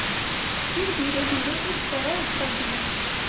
फिर धीरेधीरे इस तरह उत्तर दिया